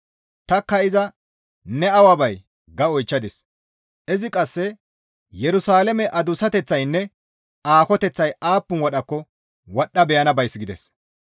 Tanikka iza, «Ne awa bay?» ga oychchadis. Izi qasse, «Yerusalaame adussateththaynne aakoteththay aappun wadhakko wadhdha beyana bays» gides.